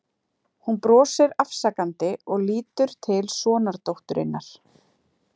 Hún brosir afsakandi og lítur til sonardótturinnar.